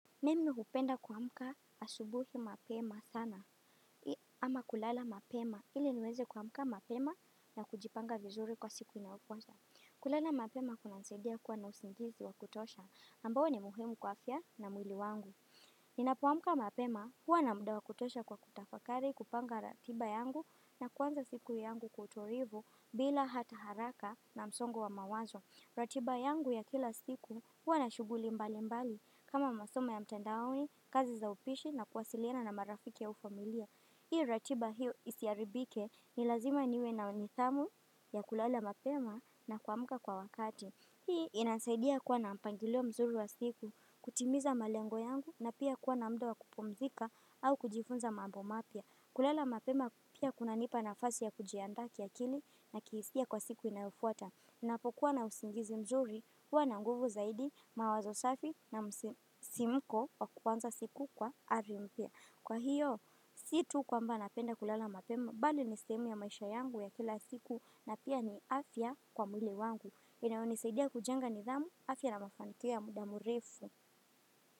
Mimi hupenda kuamka asubuhi mapema sana ama kulala mapema ili niweze kuamuka mapema na kujipanga vizuri kwa siku inayofuata. Kulala mapema kunanisaidia kuwa na usingizi wa kutosha ambao ni muhemu kwa afya na mwili wangu. Ninapoamka mapema huwa na muda wa kutosha wa kutafakari, kupanga ratiba yangu na kupanga siku yangu kwa utulivu bila hata haraka na msongo wa mawazo. Ratiba yangu ya kila siku huwa na shughuli mbalimbali kama masomo ya mtandaoni, kazi za upishi na kuwasiliana na marafiki na familia. Ili ratiba hiyo isiharibike ni lazima niwe na nidhamu ya kulala mapema na kuamka kwa wakati. Hii inasaidia kuwa na mpangilio mzuri wa siku, kutimiza malengo yangu na pia kuwa na muda wa kupumzika au kujifunza mambo mapya. Kulala mapema pia kunanipa nafasi ya kujiandaa kiakili na kihisia kwa siku inayofuata. Ninapokuwa na usingizi mzuri huwa na nguvu zaidi mawazo safi na msisimko wa kuanza siku kwa ari mpya. Kwa hiyo, si tu kwamba napenda kulala mapema, bali ni sehemu ya maisha yangu ya kila siku na pia ni afya kwa mwili wangu. Inayonisaidia kujenga nidhamu, afya na mafanikio ya muda mrefu.